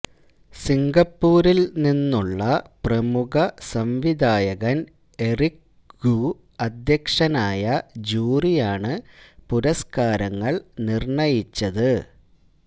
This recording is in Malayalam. സിംഗപ്പൂരില് നിന്നുള്ള പ്രമുഖ സംവിധായകന് എറിക് ഖൂ അധ്യക്ഷനായ ജൂറിയാണ് പുരസ്കാരങ്ങള് നിര്ണ്ണയിച്ചത്